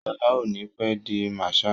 Ṣọlá ò ní pé di Marshal.